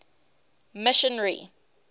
missionary